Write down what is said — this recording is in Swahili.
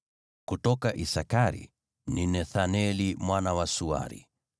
kutoka Isakari, ni Nethaneli mwana wa Suari;